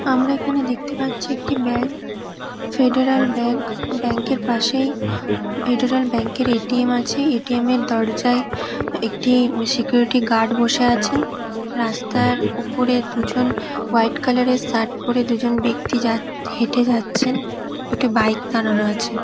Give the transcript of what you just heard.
আমরা এইখানে দেখতে পারছি একটি ব্যাঙ্ক | ফেডারেল ব্যাঙ্ক | ব্যাংকার পাশেই ফেডারেল ব্যাঙ্ক -এর এ.টি.এম আছে | এ.টি.এম -এর দরজায় একটি সিকিউরিটি গৌর্ড বসে আছেন | রাস্তার উপরে দুজন হোয়াট কালার - এর শার্ট পরে দুজন ব্যাক্তি যা হাটে যাচ্ছেন | দুটো বাইক দাঁড়ানো আছে ।